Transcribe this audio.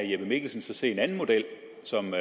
jeppe mikkelsen så se en anden model som